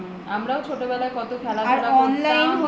আমরাও ছোটবেলায় কত খেলাধুলা করতাম